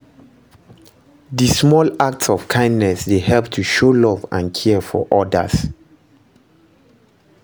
di small acts of kindness dey help to show love and care for odas.